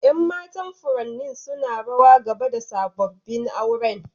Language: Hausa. Yan matan furannin suna rawa gaba da sabobin auren.